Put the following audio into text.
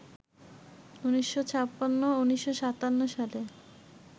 ১৯৫৬ ও ১৯৫৭ সালে